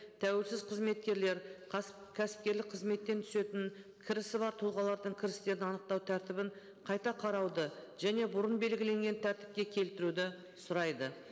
тәуелсіз қызметкерлер кәсіпкерлік қызметтен түсетін кірісі бар тұлғалардың кірістерін анықтау тәртібін қайта қарауды және бұрын белгіленген тәртіпке келтіруді сұрайды